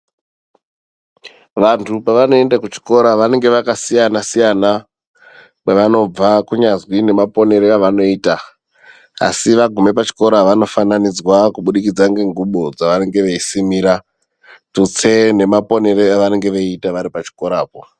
Vandu pavanoenda kuchikora vanenge vakasiyana siyana kwavanobva kunyazwi nemaponero avanoyita asi vagume pachikora vanofananidzwa kubudikidza ngengubo dzavanenge veisimira dzutse ngemaponero avanenge veyiita varipachikorapo.